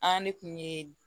An ne kun ye